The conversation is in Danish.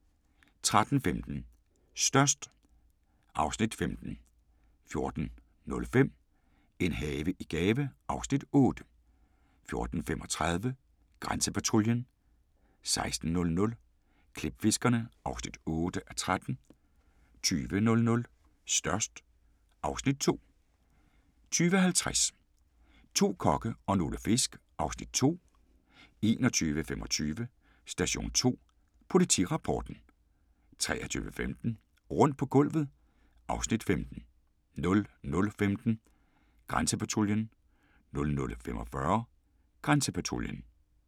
13:15: Størst (Afs. 15) 14:05: En have i gave (Afs. 8) 14:35: Grænsepatruljen 16:00: Klipfiskerne (8:13) 20:00: Størst (Afs. 2) 20:50: To kokke og nogle fisk (Afs. 2) 21:25: Station 2: Politirapporten 23:15: Rundt på gulvet (Afs. 15) 00:15: Grænsepatruljen 00:45: Grænsepatruljen